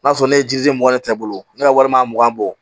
N'a sɔrɔ ne ye jiri mugan ta i bolo ne ka walima mugan bɔ